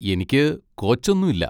എനിക്ക് കോച്ചൊന്നും ഇല്ല.